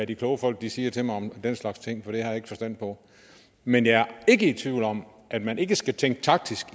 de kloge folk siger til mig om den slags ting for det har jeg ikke forstand på men jeg er ikke i tvivl om at man ikke skal tænke taktisk